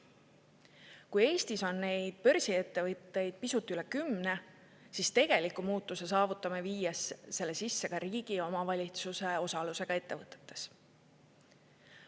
Kui Eestis on neid börsiettevõtteid pisut üle kümne, siis tegeliku muutuse saavutame, viies selle sisse ka riigi ja omavalitsuse osalusega ettevõtetes.